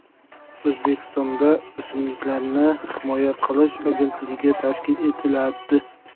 O‘zbekistonda O‘simliklarni himoya qilish agentligi tashkil etiladi.